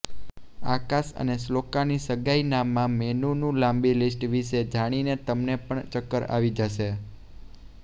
આકાશ અને શ્લોકાની સગાઈનામાં મેનુનુ લાંબિ લિસ્ટ વિશે જાણીને તમને પણ ચક્કર આવી જશે